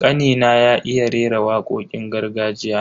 Kanina ya iya rera wakokin gargajiya.